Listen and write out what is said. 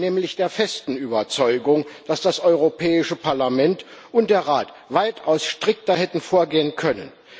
Ich bin nämlich der festen Überzeugung, dass das Europäische Parlament und der Rat weitaus strikter hätten vorgehen können.